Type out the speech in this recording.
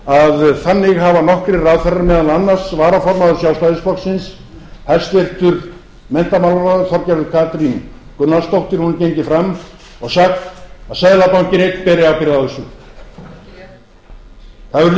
að þannig hafa nokkrir ráðherrar meðal annars varaformaður sjálfstæðisflokksins hæstvirtur menntamálaráðherra þorgerður katrín gunnarsdóttir hún er gengin fram og sagt að seðlabankinn einn beri ábyrgð á þessu